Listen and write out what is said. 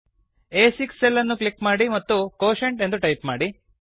ಆ6 cell ಅನ್ನು click ಮಾಡಿ ಮತ್ತು ಕ್ವೋಷೆಂಟ್ ಎಂದು ಟೈಪ್ ಮಾಡಿ